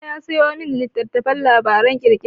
Baba ya sayo min littattafan labaran ƙirƙira.